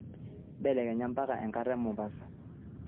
mbelekenya mpaka enkata e Mombasa